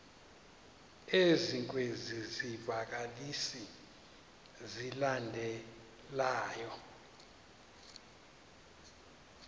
ezikwezi zivakalisi zilandelayo